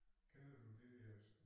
Kender du det dér